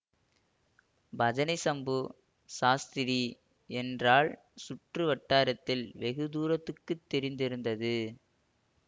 பஜனை சம்பு சாஸ்திரி என்றால் சுற்று வட்டாரத்தில் வெகு தூரத்துக்குத் தெரிந்திருந்தது